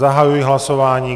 Zahajuji hlasování.